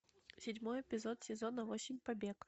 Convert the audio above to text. седьмой эпизод сезона восемь побег